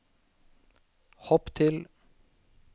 hopp til